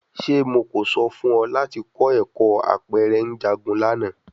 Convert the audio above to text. Ṣe Mo ko sọ fun ọ lati kọ ẹkọ apẹrẹ njagun lana?